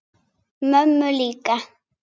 Mömmu líka?